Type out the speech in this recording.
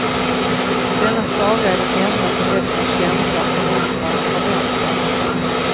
Denna saga är den enda som väcker en känsla av förundran och förväntan.